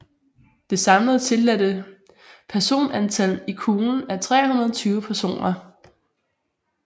Det samlede tilladte personantal i kuglen er 320 personer